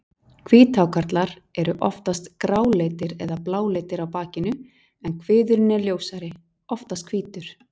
Hvíthákarlar eru oftast gráleitir eða bláleitir á bakinu en kviðurinn er ljósari, oftast hvítur.